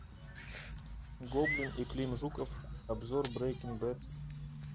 гоблин и клим жуков обзор брейкинг бед